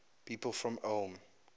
people from ulm